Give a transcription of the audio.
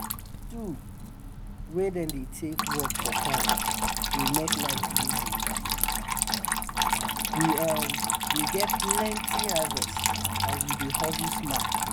d tool wey dem dey take work for farm dey make life easy we um dey get plenty harvest and we dey hustle smart